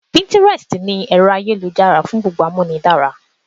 Píntírẹstì ni ẹ̀rọ-ayélujára fún gbogbo Amúnidára.